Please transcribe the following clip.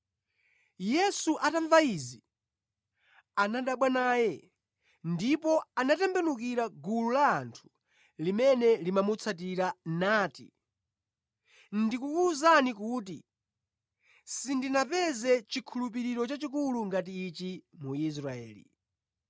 Yesu atamva izi, anadabwa naye, ndipo anatembenukira gulu la anthu limene limamutsatira nati, “Ndikukuwuzani kuti, sindinapeze chikhulupiriro chachikulu ngati ichi mu Israeli.”